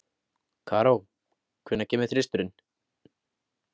Karó, hvenær kemur þristurinn?